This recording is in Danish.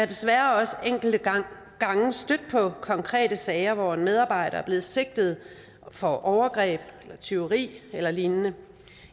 desværre også enkelte gange stødt på konkrete sager hvor en medarbejder er blevet sigtet for overgreb eller tyveri eller lignende